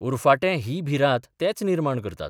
उरफाटें ही भिरांत तेच निर्माण करतात.